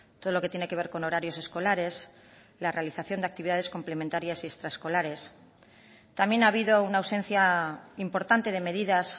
todo lo que tiene que ver con horarios escolares la realización de actividad complementarias y extraescolares también ha habido una ausencia importante de medidas